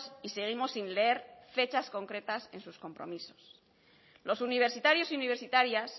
y seguimos sin leer fechas concretas en sus compromisos los universitarios y universitarias